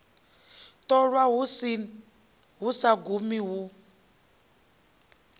ṱolwa hu sa gumi hu